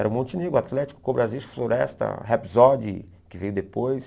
Era o Montenegro, Atlético, Cobrasista, Floresta, Rapsody, que veio depois.